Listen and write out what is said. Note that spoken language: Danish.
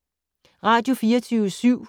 Radio24syv